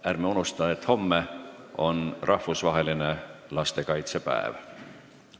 Ja ärme unusta, et homme on rahvusvaheline lastekaitsepäev.